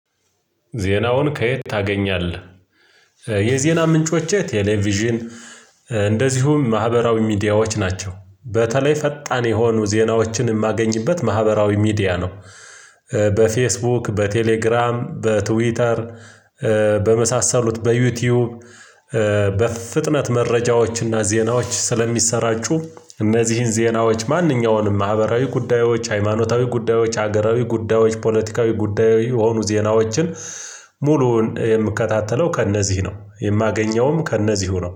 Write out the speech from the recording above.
ዜናውን ከየት ታገኛለህ? የዜና ምንጮቼ ቴሌቪዥን እንደዚሁም ማህበራዊ ሚዲያዎች ናቸው በተለይ ፈጣን የሆኑ ዜናዎችን የማገኝበት ማህበራዊ ሚዲያ ነው። በፌስቡክ በቴሌግራም በትዊተር በመሳሰሉት በዩቲዩብ። በፍጥነት መረጃዎችና ዜናዎች ስለሚሰራጩ እነዚህን ዜናዎች ማንኛውንም ማህበራዊ ጉዳዮች ሃይማኖታዊ ጉዳዮች ሀገራዊ ጉዳዮች ፖለቲካዊ ጉዳዮች የሆኑ ዜናዎችን። የምከታተለው ከእነዚህ ነው የማገኘውም ከእነዚሁ ነው